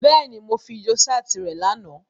Bẹ́ẹ̀ni, Mo fidio-ṣaati rẹ làná.